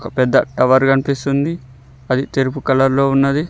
పెద్ద టవర్ కనిపిస్తుంది అది తెలుపు కలర్ లో ఉన్నది.